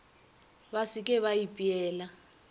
ba se ke ba ipeela